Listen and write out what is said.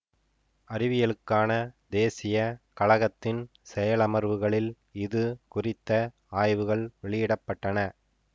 அறிவியலுக்கான தேசிய கழகத்தின் செயலமர்வுகளில் இது குறித்த ஆய்வுகள் வெளியிட பட்டன